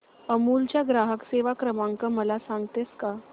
अमूल चा ग्राहक सेवा क्रमांक मला सांगतेस का